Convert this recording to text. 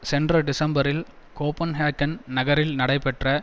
சென்ற டிசம்பரில் கோப்பன்ஹெகன் நகரில் நடைபெற்ற